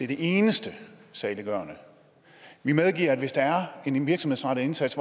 det eneste saliggørende vi medgiver at hvis der er en virksomhedsrettet indsats